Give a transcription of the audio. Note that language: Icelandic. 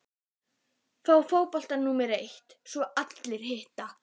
Fá fótboltann númer eitt og svo allt hitt?